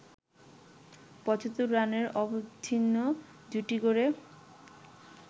৭৫ রানের অবিচ্ছিন্ন জুটি গড়ে